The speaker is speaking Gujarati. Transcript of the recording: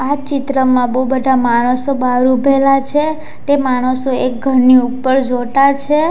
આ ચિત્રમાં બહુ બધા માણસો બહાર ઉભેલા છે તે માણસો એક ઘરની ઉપર જોટા છે.